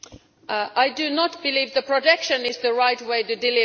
I do not believe that protection is the right way to deliver.